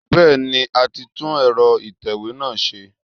Bẹ́ẹ̀ni, a ti tú ẹ̀rọ ìtẹ̀wé náà ṣe.